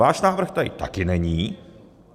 Váš návrh tady taky není.